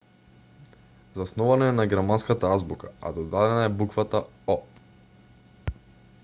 заснована е на германската азбука а додадена е буквата õ/õ